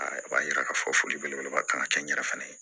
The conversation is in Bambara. O b'a yira k'a fɔ foli belebeleba kan ka kɛ n yɛrɛ fana ye